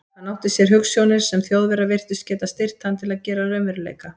Hann átti sér hugsjónir, sem Þjóðverjar virtust geta styrkt hann til að gera að raunveruleika.